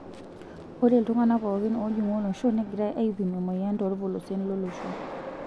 Ore iltungana pookin oojingu olosho neigirai aipim emoyian toolpolosien lolosho.